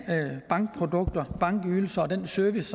bankprodukter og bankydelser og den service